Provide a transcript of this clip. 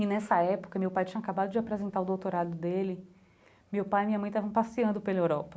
E nessa época, meu pai tinha acabado de apresentar o doutorado dele, meu pai e minha mãe estavam passeando pela Europa.